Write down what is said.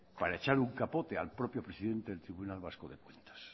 para echar un capote al propio presidente del tribunal vasco de cuentas